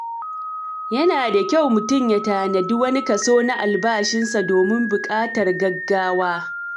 Yana da kyau mutum ya tanadi wani kaso na albashinsa domin buƙatar gaggawa.